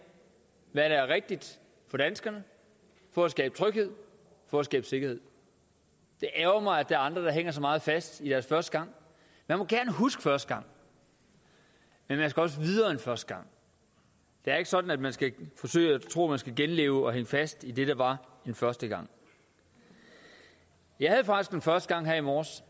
hvad der er rigtigt for danskerne for at skabe tryghed for at skabe sikkerhed det ærgrer mig at er andre der hænger så meget fast i deres første gang man må gerne huske første gang men man skal også videre end første gang det er ikke sådan at man skal forsøge at tro at man skal genleve og hænge fast i det der var den første gang jeg havde faktisk en første gang her i morges